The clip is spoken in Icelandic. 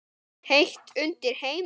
Heitt undir Heimi?